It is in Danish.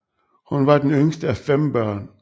Hun var den yngste af fem børn